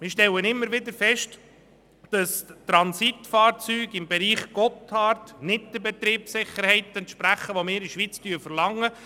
Wir stellen immer wieder fest, dass Transitfahrzeuge im Bereich des Gotthard nicht der Betriebssicherheit entsprechen, wie wir sie in der Schweiz verlangen.